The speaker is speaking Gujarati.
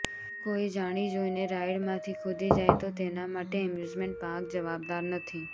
જો કોઈ જાણી જોઈને રાઈડમાંથી કૂદી જાય તો તેના માટે એમ્યુઝમેન્ટ પાર્ક જવાબદાર નથી